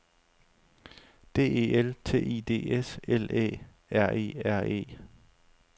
D E L T I D S L Æ R E R E